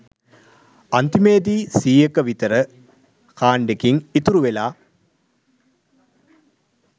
අන්තිමේදි සීයක විතර කාණ්ඩෙකිං ඉතුරු වෙලා